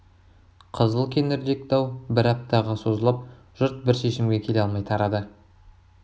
қызыл кеңірдек дау бір аптаға созылып жұрт бір шешімге келе алмай тарады